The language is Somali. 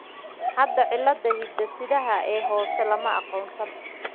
Hadda, cilladda hidde-sidaha ee hoose lama aqoonsan.